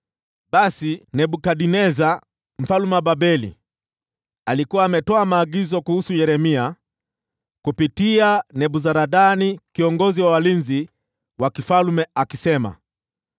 Basi, Nebukadneza mfalme wa Babeli alikuwa ametoa maagizo kuhusu Yeremia kupitia Nebuzaradani kiongozi wa walinzi wa mfalme akisema: